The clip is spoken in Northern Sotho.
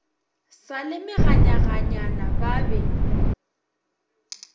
sa le meganyaganyana ba be